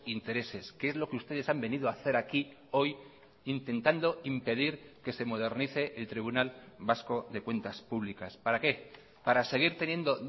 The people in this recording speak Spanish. intereses que es lo que ustedes han venido a hacer aquí hoy intentando impedir que se modernice el tribunal vasco de cuentas públicas para qué para seguir teniendo